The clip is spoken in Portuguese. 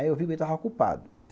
Aí eu vi que ele estava ocupado.